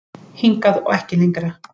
Hingað og ekki lengra